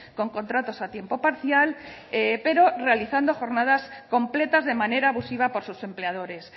con contratos a tiempo parcial pero realizando jornadas completas de manera abusiva por sus empleadores